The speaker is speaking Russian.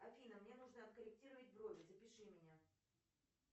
афина мне нужно откорректировать брови запиши меня